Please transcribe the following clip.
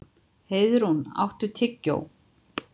Heiðrún, áttu tyggjó?